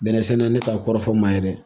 Bɛnnɛsɛnɛne t'a kɔrɔfɔ ma ye dɛ!